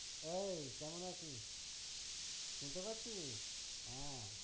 এই কেমন আছিস? শুনতে পাচ্ছিস? হ্যাঁ